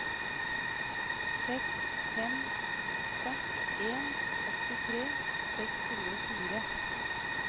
seks fem åtte en åttitre seks hundre og fire